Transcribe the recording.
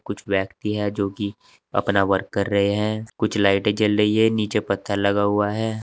कुछ व्यक्ति है जो कि अपना वर्क कर रहे हैं कुछ लाइटें जल रही है नीचे पत्थर लगा हुआ है।